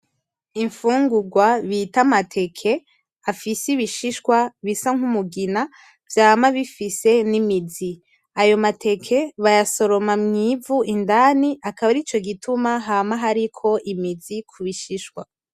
Imfungugwa bita amateke afise ibishishwa bisa nk'umugina vyama bifise n'imizi ayo mateke bayasoroma mw,ivu indani akaba arico gituma hama hariko imizi kubishishwa .